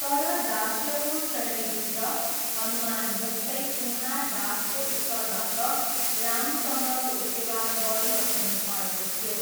तर दास्यको श्रेणीभित्र, हनुमानजस्तै उहाँ दासको स्तरबाट रामचन्द्रको सेवा गरिरहनुभएको थियो।